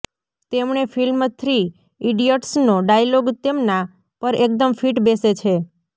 તેમણે film three ઈડિયટસનો dialogue તેમના પર એકદમ ફિટ બેસે છે